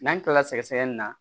N'an kilala sɛgɛsɛgɛli na